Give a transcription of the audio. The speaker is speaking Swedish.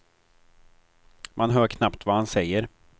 Man hör knappt vad han säger.